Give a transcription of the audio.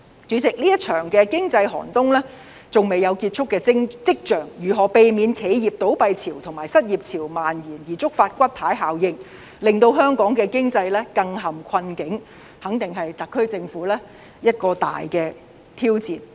主席，這場經濟寒冬還未有結束跡象，如何避免企業倒閉潮和失業潮蔓延，而觸發骨牌效應，令香港的經濟更陷困境，肯定是特區政府一個大挑戰。